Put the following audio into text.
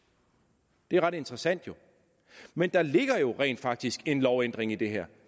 det er jo ret interessant men der ligger rent faktisk en lovændring i det her